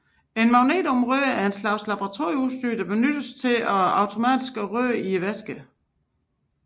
En magnetomrører er en slags laboratorieudstyr som benyttes til automatisk omrøring af væsker